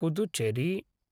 Puducherry